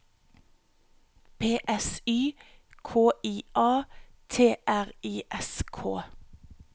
P S Y K I A T R I S K